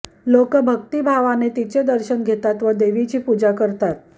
लोक भक्तिभावाने तिचे दर्शन घेतात व देवीची पूजा करतात